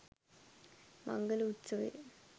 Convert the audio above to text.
මංගල උත්සවය